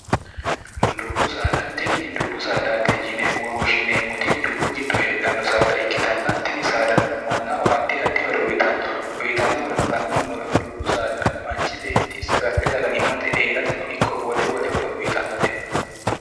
dubbudtini dubbu saadaati yine wowoshshineemmoti dubbu giddo heedhanno saada ikkitanna tini saadano mannaho addi addihoro uyitanno uyitanno horono la'nommoro dubbu saada manchi beetti saga'le sagalimmate eerate no ikko wole wolehoro uyitannore